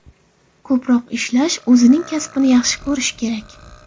Ko‘proq ishlash, o‘zining kasbini yaxshi ko‘rish kerak.